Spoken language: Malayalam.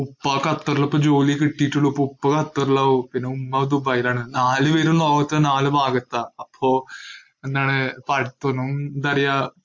ഉപ്പാ ഖത്തറില് ഇപ്പൊ ജോലി കിട്ടീട്ടുള്ളൂ. അപ്പോ ഉപ്പാ ഖത്തറിലാവും. പിന്നെ ഉമ്മ ദുബായീലാണ്, നാലുപേരും ലോകത്തെ നാലു ഭാഗത്താ. അപ്പോ എന്താണ് ഇപ്പടുത്തൊന്നും എന്താ പറയ്യാ